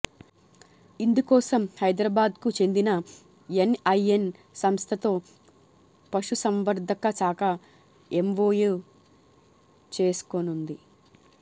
ఇందుకోసం హైదరాబాద్కు చెందిన ఎన్ఐఎన్ సంస్థతో పశుసంవర్థక శాఖ ఎంవోయూ చేసుకోనుంది